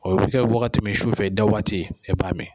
O bi kɛ wagati min su fɛ da waati i b'a mi